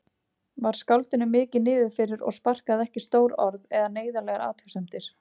Var skáldinu mikið niðrifyrir og sparaði ekki stór orð eða neyðarlegar athugasemdir.